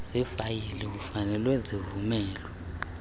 zifayile kufanele zivulelwe